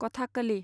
कथाखालि